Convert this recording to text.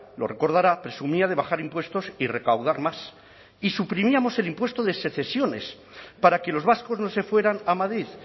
lo recordará presumía de bajar impuestos y recaudar más y suprimíamos el impuesto de sucesiones para que los vascos no se fueran a madrid